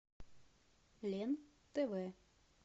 лен тв